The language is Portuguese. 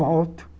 Volto.